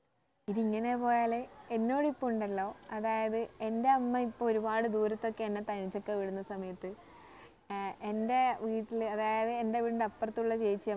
ഇത് ഇങ്ങനെ പോയാല് എന്നോട് ഇപ്പൊ ഉണ്ടല്ലോ അതായത് എന്റെ അമ്മ ഇപ്പൊ ഒരുപാട് ദൂരത്തൊക്കെ എന്നെ തനിച്ച് ഒക്കെ വിടുന്ന സമയത്ത് ഏർ എന്റെ വീട്ടിൽ അതായത് എന്റെ വീടിന്റെ അപ്പർത്തുള്ള ചേച്ചി